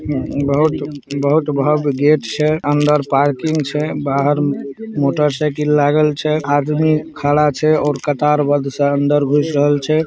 बहुत-बहुत भव्य गेट छै अंदर पार्किंग छै बाहर मोटर साइकिल लागल छै आदमी खड़ा छै और कतारबद्ध से अंदर घुस रहल छै।